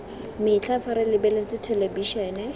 metlha fa re lebeletse thelebišene